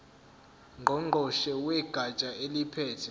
ngqongqoshe wegatsha eliphethe